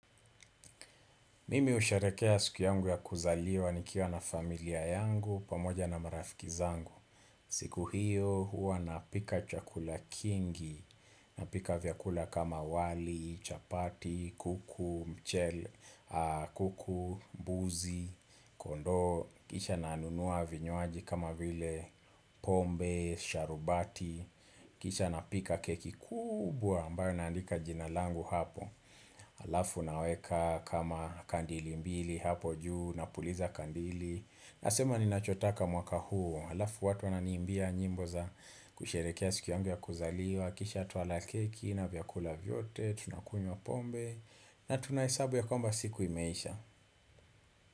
Mimi husharekea siku yangu ya kuzaliwa nikiwa na familia yangu pamoja na marafiki zangu. Siku hiyo huwa napika chakula kingi, napika vyakula kama wali, chapati, kuku, mchele, kuku, mbuzi, kondoo, kisha nanunua vinywaji kama vile pombe, sharubati, kisha na pika keki kubwa ambayo naandika jinalangu hapo. Alafu naweka kama kandili mbili hapo juu napuliza kandili Nasema ni nachotaka mwaka huu Alafu watu ananiimbia nyimbo za kusherehekea siku yangu ya kuzaliwa Kisha tuwala keki na vyakula vyote tunakunywa pombe na tunahesabu ya kwamba siku imeisha.